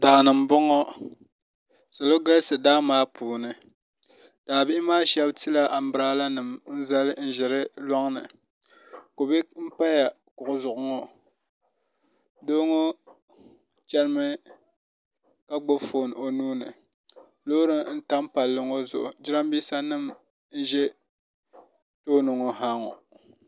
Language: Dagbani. Daani n boŋo salo galisi daa maa puuni daa bihi maa shab tila anbiraala nim n zali n ʒi di loŋni kubɛ n pa kuɣu zuɣu ŋo doo ŋo chɛnimi ka gbubi foon o nuuni loori n tam palli ŋo zuɣu jiranbiisa nim n ʒɛ tooni ŋo ha ŋo